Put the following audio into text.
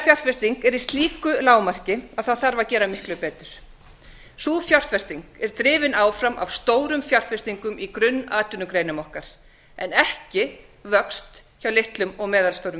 atvinnuvegafjárfesting er í slíku lágmarki að það þarf að gera miklu betur sú fjárfesting er drifin áfram af stórum fjárfestingum í grunnatvinnugreinum okkar en ekki vöxt hjá litlum og meðalstórum